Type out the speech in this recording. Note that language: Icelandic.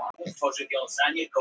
Þeir eru frá Patreksfirði.